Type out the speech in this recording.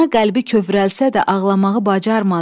Ana qəlbi kövrəlsə də ağlamağı bacarmadı.